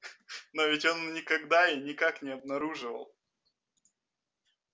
но ведь он никогда и никак не обнаруживал